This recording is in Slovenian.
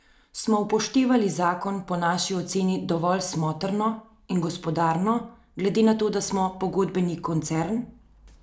Smo upoštevali zakon in po naši oceni delovali smotrno in gospodarno glede na to, da smo pogodbeni koncern.